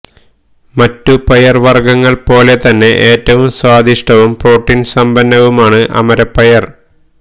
മറ്റു പയർവർഗ്ഗങ്ങൾ പോലെ തന്നെ ഏറ്റവും സ്വാദിഷ്ടവും പ്രോട്ടീൻ സമ്പന്നവുമാണ് അമരപ്പയർ